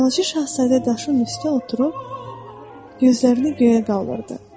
Balaca şahzadə daşın üstündə oturub gözlərini göyə qaldırdı.